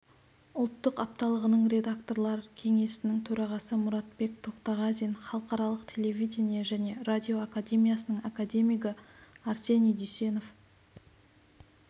ұлттық апталығының редакторлар кеңесінің төрағасы мұратбек тоқтағазин халықаралық телевидение және радио академиясының академигі арсений дүйсенов